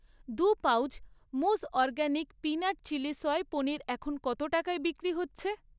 দুটি পাউচ মুজ organic peanut chilli সয়াবিনের পনির এখন কত টাকায় বিক্রি হচ্ছে?